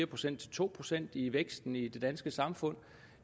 procent til to procent i vækst i det danske samfund